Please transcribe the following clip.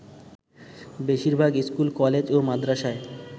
বেশির ভাগ school, college ও মাদরাসায়